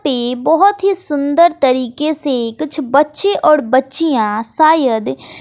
पे बहोत ही सुंदर तरीके से कुछ बच्चे और बच्चियां शायद।